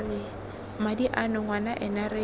madi ano ngwana ena re